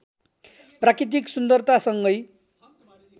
प्राकृतिक सुन्दरतासँगै